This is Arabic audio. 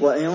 وَإِن